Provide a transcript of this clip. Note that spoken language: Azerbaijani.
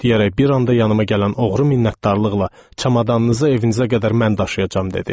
deyərək bir anda yanıma gələn oğru minnətdarlıqla: Çamadanınızı evinizə qədər mən daşıyacam dedi.